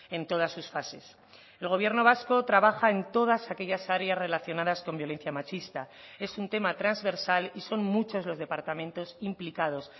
en todas sus fases el gobierno vasco trabaja en todas aquellas áreas relacionadas con violencia machista es un tema transversal y son muchos los departamentos implicados